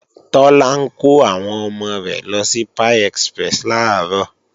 Tọ́lá ń kọ́ àwọn ọmọ rẹ̀ lọ sí Pie Express làárọ̀